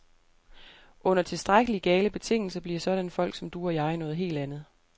Under tilstrækkeligt gale betingelser bliver sådanne folk som du og jeg noget helt andet.